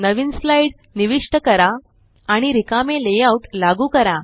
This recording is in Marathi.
नवीन स्लाइड निविष्ट करा आणि रिकामे लेआउट लागू करा